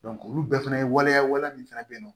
olu bɛɛ fɛnɛ ye waleya wale min fana bɛ yen nɔ